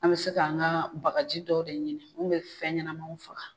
An bɛ se ka an ŋaa bagaji dɔw de ɲini mun be fɛn ɲɛnamaw faga.